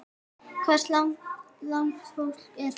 Hvers lags fólk er þetta?